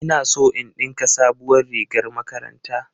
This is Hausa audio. Ina so in ɗinka sabuwar rigar makaranta